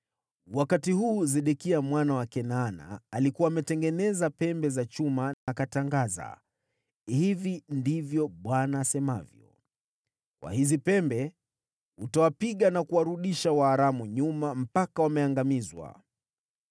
Wakati huu Sedekia mwana wa Kenaana alikuwa ametengeneza pembe za chuma, akatangaza, “Hivi ndivyo Bwana asemavyo, ‘Kwa hizi pembe utawapiga na kuwarudisha Waaramu nyuma mpaka wameangamizwa.’ ”